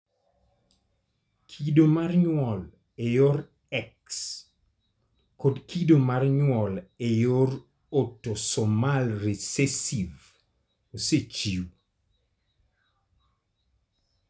Kido mar nyuol e yor X kod kido mar nyuol e yor autosomal recessive osechiw.